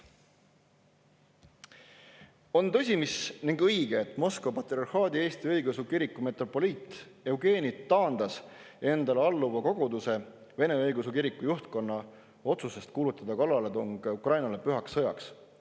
On tõsi, et Moskva Patriarhaadi Eesti Õigeusu Kiriku metropoliit Eugeni taandas endale alluva koguduse Vene Õigeusu Kiriku juhtkonna otsusest kuulutada kallaletung Ukrainale pühaks sõjaks.